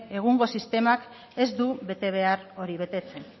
egungo sistemak ez du bete behar hori betetzen